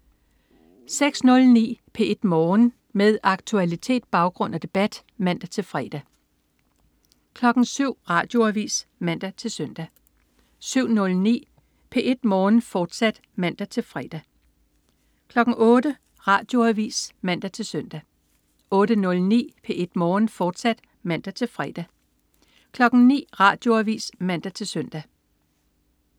06.09 P1 Morgen. Med aktualitet, baggrund og debat (man-fre) 07.00 Radioavis (man-søn) 07.09 P1 Morgen, fortsat (man-fre) 08.00 Radioavis (man-søn) 08.09 P1 Morgen, fortsat (man-fre) 09.00 Radioavis (man-søn)